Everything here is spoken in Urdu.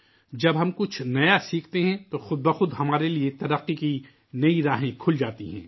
جب ہم کچھ نیا سیکھتے ہیں تو ہمارے لئے نئے نئے راستے خود بہ خود کھل جاتے ہیں